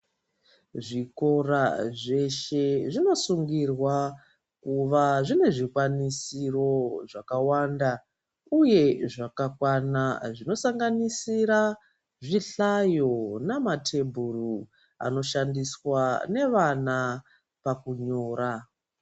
Zvikora zveshe zvinosungirwa kuva zvine zvikwanisiro zvakawanda, uye zvakakwana zvinosanganisira zvihlayo nematebhura anoshandiswa nevana pakunyora.